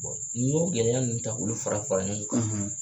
N'i y'o gɛlɛya ninnu ta k'olu fara fara ɲɔgɔn kan